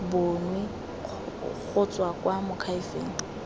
bonwe go tswa kwa moakhaefeng